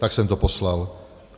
Tak jsem to poslal.